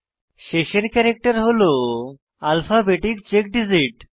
শেষের ক্যারেক্টার হল alphabetic check digit